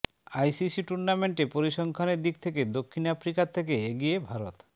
ICC টুর্নামেন্টে পরিসংখ্যানের দিক থেকে দক্ষিণ আফ্রিকার থেকে এগিয়ে ভারত